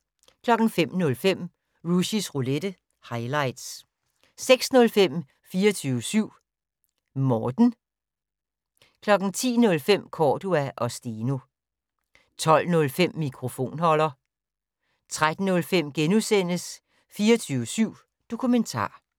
05:05: Rushys Roulette - highlights 06:05: 24syv Morten 10:05: Cordua & Steno 12:05: Mikrofonholder 13:05: 24syv Dokumentar *